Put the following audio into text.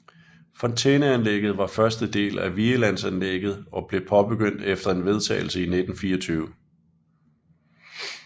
Fontæneanlægget var første del af Vigelandsanlegget og blev påbegyndt efter en vedtagelse i 1924